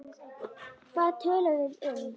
Hvað töluðum við um?